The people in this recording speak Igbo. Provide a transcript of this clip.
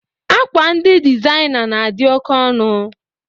Akwa ndị dịzaina na-adị oke ọnụ